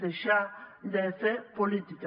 deixar de fer política